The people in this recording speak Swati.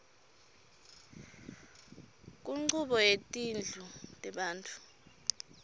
kunchubo yetindlu tebantfu